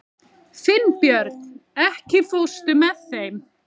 Finnbjörn, ekki fórstu með þeim?